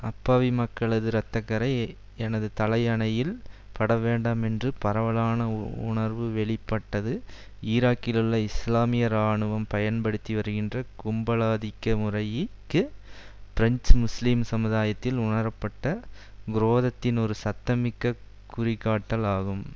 அப்பாவி மக்களது இரத்த கறை எனது தலை அணியில் படவேண்டாம் என்ற பரவலான உணர்வு வெளிப்படுத்த பட்டது ஈராக்கிலுள்ள இஸ்லாமிய இராணுவம் பயன்படுத்தி வருகின்ற கும்பலாதிக்க முறைய்க்கு பிரெஞ்சு முஸ்லீம் சமுதாயத்தில் உணரப்பட்ட குரோதத்தின் ஒரு சத்திமிக்க குறிகாட்டல் ஆகும்